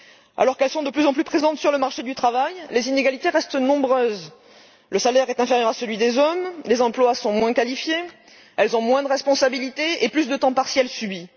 Alors qu'elles sont de plus en plus présentes sur le marché du travail, les inégalités restent nombreuses le salaire est inférieur à celui des hommes, les emplois sont moins qualifiés, les femmes ont moins de responsabilités et plus de temps partiel subi.